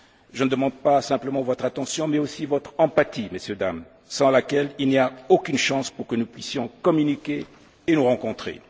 Je ne demande pas simplement votre attention mais aussi votre empathie, Mesdames et Messieurs, sans laquelle il n'y a aucune chance que nous puissions communiquer et nous rencontrer.